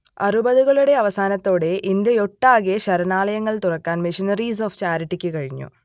അറുപതുകളുടെ അവസാനത്തോടെ ഇന്ത്യയൊട്ടാകെ ശരണാലയങ്ങൾ തുറക്കാൻ മിഷണറീസ് ഓഫ് ചാരിറ്റിക്ക് കഴിഞ്ഞു